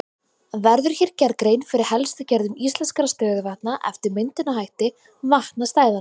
Verður hér gerð grein fyrir helstu gerðum íslenskra stöðuvatna eftir myndunarhætti vatnastæðanna.